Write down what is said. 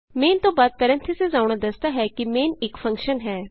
main ਤੋਂ ਬਾਅਦ parentheses ਆਉਣਾ ਦੱਸਦਾ ਹੈ ਕਿ ਮੇਨ ਇਕ ਫੰਕਸ਼ਨ ਹੈ